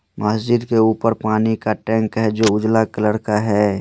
मुस्जित के उपर पानी का टँक है जो उजला कलर का है।